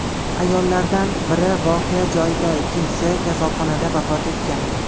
Ayollardan biri voqea joyida, ikkinchisi kasalxonada vafot etgan.